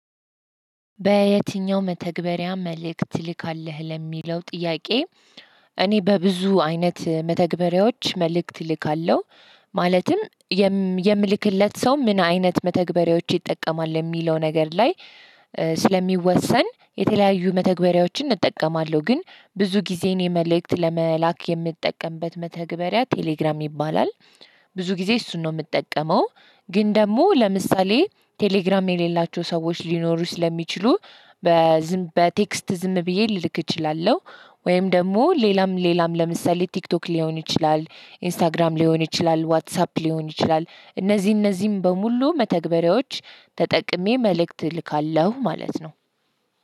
በየተኛው መተግበሪያ መልእክት ትልካለህ ለሚለው ጥያቄ? እኔ በብዙ አይነት መተግበሪያዎች መልእክት እልካለሁ ማለትም የምልክለት ሰው ምን አይነት መተግበሪያዎች ይጠቀማል የሚለው ነገር ላይ። ስለሚወሰን የተለያዩ መተግበሪያዎችን እጠቀማለሁ ግን ብዙ ጊዜ እኔ የመልእክት ለመላክ የምትጠቀምበት መተግበሪያ ቴሌግራም ይባላል። ብዙ ጊዜ እሱን ነው የምጠቀመው ግን ደግሞ ለምሳሌ ቴሌግራም የሌላቸው ሰዎች ሊኖሩ ስለሚችሉ በዝም በቴክስት ዝም ብዬ ልልክ እችላለሁ። ወይም ደግሞ ሌላም ሌላም ለምሳሌ ቲክቶክ ሊሆን ይችላል ኢንስታግራም ሊሆን ይችላል ዋትሳፕ ሊሆን ይችላል። እነዚህ እነዚህም በሙሉ መተግበሪያዎች ተጠቅሜ መልእክት እልካለሁ ማለት ነው።